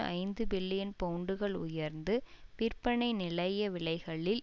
ஐந்து பில்லியன் பவுண்டுகள் உயர்ந்து விற்பனை நிலைய விலைகளில்